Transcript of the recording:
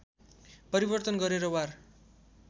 परिवर्तन गरेर वार